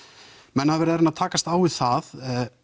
menn hafa verið að reyna að takast á við það